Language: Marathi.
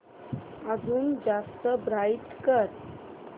अजून जास्त ब्राईट कर